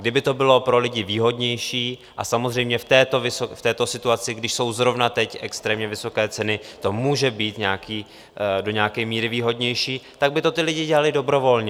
Kdyby to bylo pro lidi výhodnější, a samozřejmě v této situaci, když jsou zrovna teď extrémně vysoké ceny, to může být do nějaké míry výhodnější, tak by to ti lidé dělali dobrovolně.